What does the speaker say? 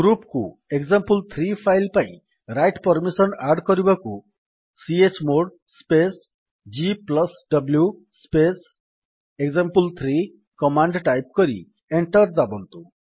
group କୁ example three file ପାଇଁ write permission add କରିବାକୁ chmod space gw space example three command type କରି enter ଦାବନ୍ତୁ